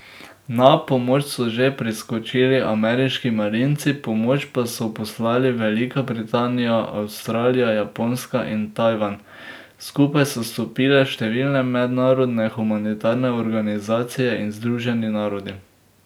Na pomoč so že priskočili ameriški marinci, pomoč so poslali Velika Britanija, Avstralija, Japonska in Tajvan, skupaj so stopile številne mednarodne humanitarne organizacije in Združeni narodi.